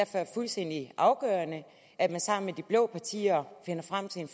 er fuldstændig afgørende at man sammen med de blå partier finder frem til en